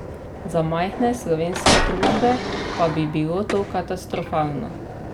Za majhne slovenske družbe pa bi bilo to katastrofalno.